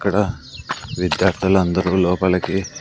ఇక్కడ విద్యార్థులు అందరూ లోపలికి.